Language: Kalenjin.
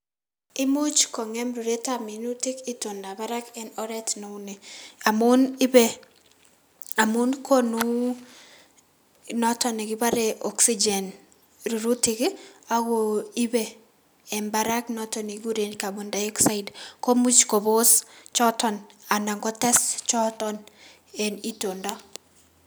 Imuch kong'em ruretab minutik itondab barak en oreet neunii, amuun ibee, amuun konuu noton nekibore oxygen rurutik ii akoo ibee en barak noton nekikuren carbon dioxide komuch kobos choton anan kotes choton en itondo.